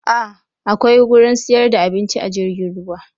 A akwai gurin siyar da abinci a jirgin ruwa